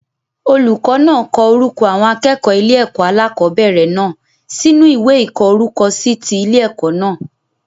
Olùkó náà ko orúko àwọn akéèkòó ile èkó alákòóbèrè náà sínú ìwé ìkó orúkọ si ti Ile èkó náà